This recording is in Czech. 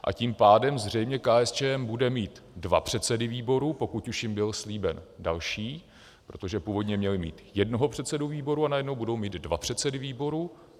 A tím pádem zřejmě KSČM bude mít dva předsedy výboru, pokud už jim byl slíben další, protože původně měli mít jednoho předsedu výboru, a najednou budou mít dva předsedy výboru.